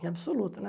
Em absoluto, né?